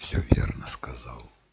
всё верно сказал